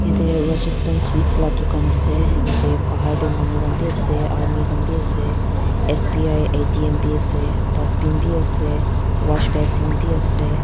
eta rajasthan sweets la ka dukan ase eta bhar tey manu khan b ase army khan b ase S_B_I A_T_M b ase dustbin b ase wash basin bi ase.